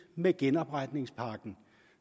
med genopretningspakken